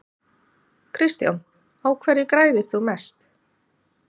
Kristján: Á hverju græðir þú mest?